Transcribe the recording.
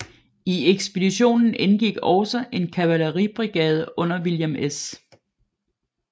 I ekspeditionen indgik også en kavaleribrigade under William S